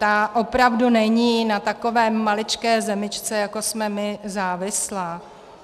Ta opravdu není na takové maličké zemičce, jako jsme my, závislá.